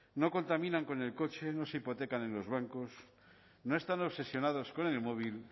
no contaminan con el coche no se hipotecan en los bancos no están obsesionados con el móvil